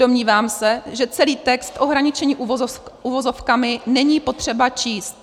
Domnívám se, že celý text ohraničený uvozovkami není potřeba číst.